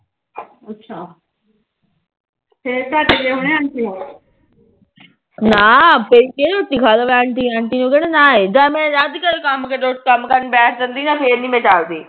ਨਾ ਫਿਰ ਕਿਆ ਰੋਟੀ ਖਾ ਲਵੇ ਅੰਟੀ ਅੰਟੀ ਕਿਹੜਾ ਨਾ ਏ ਜਦ ਮੈ ਰੱਜ ਕੇ ਕੰਮ ਕਰਕੇ ਬੈਠ ਜਾਂਦੀ ਨਾ ਫਿਰ ਨੀ ਮੈ ਡਰਦੀ